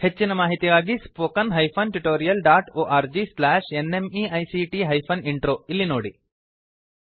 ಹೆಚ್ಚಿನ ಮಾಹಿತಿಗಾಗಿ spoken hyphen tutorial dot org slash NMEICT hyphen intro ಇಲ್ಲಿ ನೋಡಿ